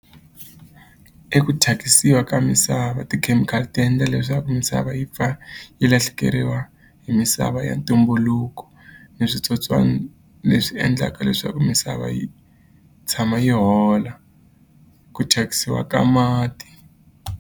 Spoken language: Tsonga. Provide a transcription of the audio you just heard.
I ku thyakisiwa ka misava tikhemikhali ti endla leswaku misava yi pfa yi lahlekeriwa hi misava ya ntumbuluko ni switsotswana leswi endlaka leswaku misava yi tshama yi hola ku thyakisiwa ka mati.